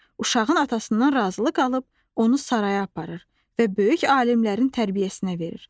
Uşağın atasından razılıq alıb onu saraya aparır və böyük alimlərin tərbiyəsinə verir.